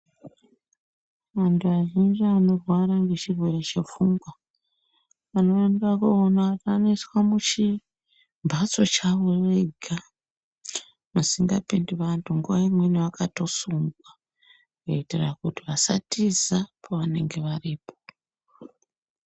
Vanhu vanenge vanorwara ngechirwere chepfungwa unondoona vanosiswa muchimhatso chavo vega musingapindi vanhu nguwa imweni vanotosungwa kuitire kuti vasatiza pavanenge varipo.